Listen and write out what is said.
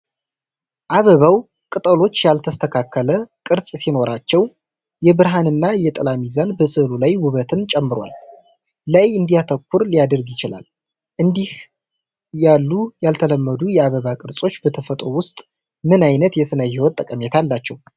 አበባው ቅጠሎች ያልተስተካከለ ቅርጽ ሲኖራቸው፤ የብርሃንና የጥላ ሚዛን በሥዕሉ ላይ ውበትን ጨምሯል። ላይ እንዲያተኩር ሊያደርግ ይችላል? እንዲህ ያሉ ያልተለመዱ የአበባ ቅርጾች በተፈጥሮ ውስጥ ምን ዓይነት የስነ-ህይወት ጠቀሜታ አላቸው?